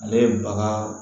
Ale ye baga